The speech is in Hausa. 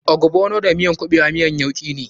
Ogbono da kuɓewa miyan yauki ne.